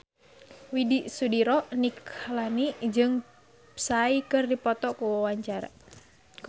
Widy Soediro Nichlany jeung Psy keur dipoto ku wartawan